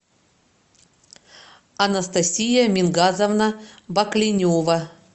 анастасия мингазовна бакленева